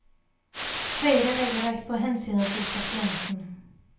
Høyre legger vekt på hensynet til pasienten.